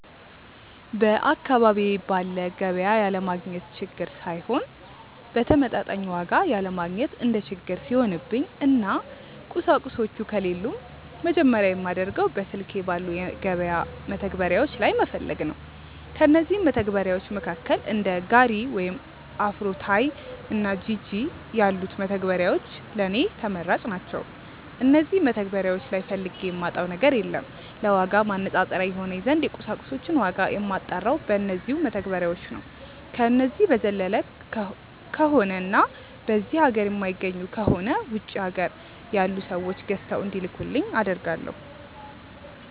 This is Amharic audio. በአካባቢዬ ባለ ገቢያ ያለማግኘት ችግር ሳይሆን በተመጣጣኝ ዋጋ ያለማግኘት እንደ ችግር ሲሆንብኝ እና ቁሳቁሶቹ ከሌሉም መጀመርያ የማደርገው በስልኬ ባሉ የገበያ መተግበሪያዎች ላይ መፈለግ ነው። ከእነዚህም መተግበርያዎች መካከል እንደ ጋሪ ወይም አፍሮታይ እና ጂጂ ያሉት መተግበሪያዎች ለኔ ተመራጭ ናቸዉ። እነዚህ መተግበሪያዎች ላይ ፈልጌ የማጣው ነገር የለም። ለዋጋ ማነፃፀሪያ ይሆነኝ ዘንድ የቁሳቁሶችን ዋጋ የማጣራው በነዚው መተግበሪያዎች ነው። ከነዚህ በዘለለ ከሆነ እና በዚህ ሀገር የማይገኙ ከሆነ ውጪ ሀገር ያሉ ሰዎች ገዝተው እንዲልኩልኝ አደርጋለው።